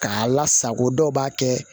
K'a lasago dɔw b'a kɛ